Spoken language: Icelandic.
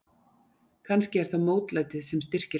Kannski er það mótlætið sem styrkir mig.